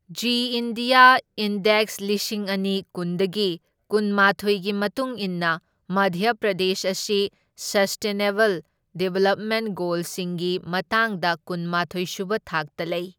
G India index ꯂꯤꯁꯤꯡ ꯑꯅꯤ ꯀꯨꯟꯗꯒꯤ ꯀꯨꯟꯃꯥꯊꯣꯢꯒꯤ ꯃꯇꯨꯡ ꯏꯟꯅ ꯃꯙ꯭ꯌ ꯄ꯭ꯔꯗꯦꯁ ꯑꯁꯤ ꯁꯁꯇꯦꯅꯦꯕꯜ ꯗꯤꯚꯦꯂꯞꯃꯦꯟꯠ ꯒꯣꯜꯁꯤꯡꯒꯤ ꯃꯇꯥꯡꯗ ꯀꯨꯟꯃꯥꯊꯣꯢ ꯁꯨꯕ ꯊꯥꯛꯇ ꯂꯩ꯫